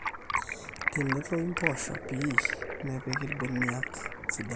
tenetoyu mpoosho pii nepiki irbeniak sidan